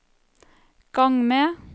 gang med